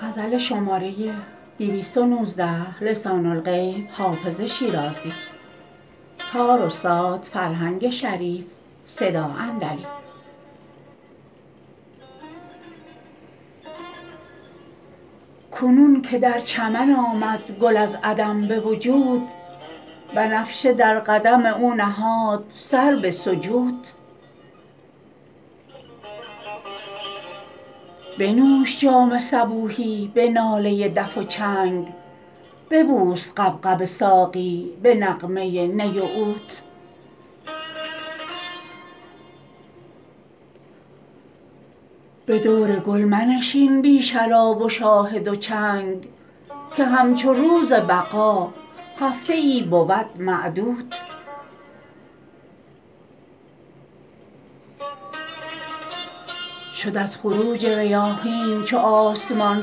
کنون که در چمن آمد گل از عدم به وجود بنفشه در قدم او نهاد سر به سجود بنوش جام صبوحی به ناله دف و چنگ ببوس غبغب ساقی به نغمه نی و عود به دور گل منشین بی شراب و شاهد و چنگ که همچو روز بقا هفته ای بود معدود شد از خروج ریاحین چو آسمان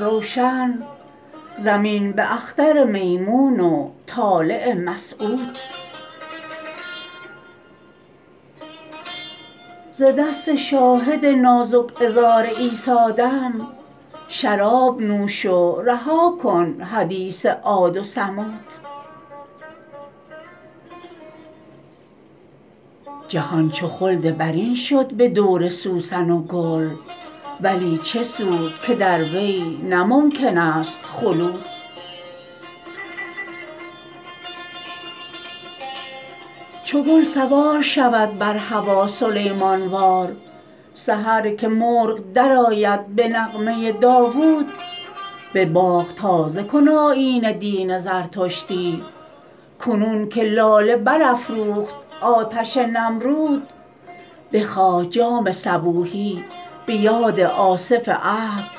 روشن زمین به اختر میمون و طالع مسعود ز دست شاهد نازک عذار عیسی دم شراب نوش و رها کن حدیث عاد و ثمود جهان چو خلد برین شد به دور سوسن و گل ولی چه سود که در وی نه ممکن است خلود چو گل سوار شود بر هوا سلیمان وار سحر که مرغ درآید به نغمه داوود به باغ تازه کن آیین دین زردشتی کنون که لاله برافروخت آتش نمرود بخواه جام صبوحی به یاد آصف عهد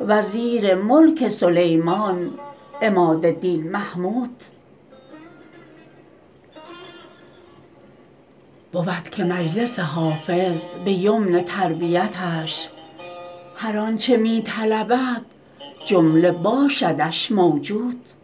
وزیر ملک سلیمان عماد دین محمود بود که مجلس حافظ به یمن تربیتش هر آن چه می طلبد جمله باشدش موجود